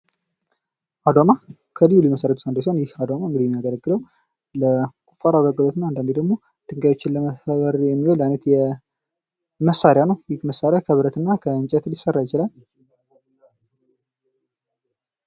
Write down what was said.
አዷማ ከልዩ ልዩ መሳሪያዎች አንዱ ሲሆን ይህ አዷማ እንግዲህ የሚያገለግለው ለቁፋሮ አገልግሎት እና አንዳንድ ጊዜ ደግሞ ድንጋዮችን ለመሰባበር የሚውል አይነት መሳሪያ ነው። ይህ መሣሪያ ከብረትና ከእንጨት ሊሰራ ይችላል።